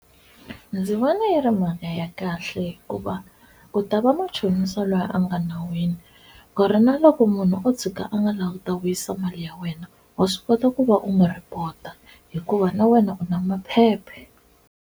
Ndzi vona yi ri mali ya kahle hikuva u ta va machonisa loyi a nga nawini ku ri na loko munhu o tshika a nga lavi ku ta vuyisa mali ya wena wa swi kota ku va u n'wi report-a hikuva na wena u na maphepha.